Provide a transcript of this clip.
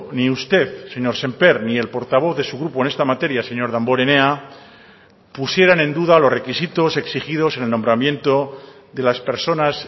ni usted señor sémper ni el portavoz de su grupo en esta materia señor damborenea pusieran en duda los requisitos exigidos en el nombramiento de las personas